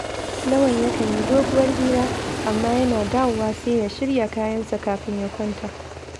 Lawan yakan yi doguwar hira, amma yana dawowa sai ya shirya kayan ɗakinsa kafin ya kwanta